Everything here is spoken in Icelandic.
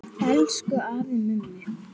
Elsku afi Mummi.